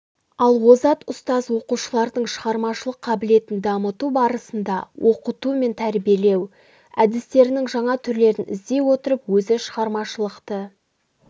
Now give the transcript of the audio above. ал озат ұстаз оқушылардың шығармашылық қабілетін дамыту барысында оқыту мен тәрбиелеу әдістерінің жаңа түрлерін іздей отырып өзі шығармашылықты